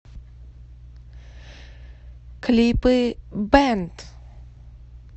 клипы бэнд